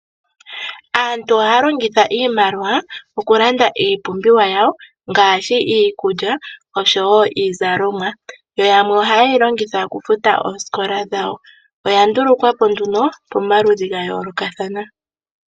Aantu ohaya longitha iimaliwa okulanda iipumbiwa yawo ngaashi iikulya noshowo iizalomwa . Yo yamwe ohaye yi longitha okufuta oosikola dhawo. Oya ndulukwapo nduno pomaludhi ga yoolokathana.